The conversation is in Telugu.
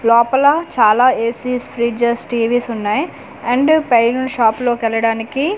లోపల చాలా ఏ_సీస్ ఫ్రీడ్జెస్ టీ_వీస్ వున్నాయి అండ్ పైనున్న షాప్ లో కెళ్ళడానికి .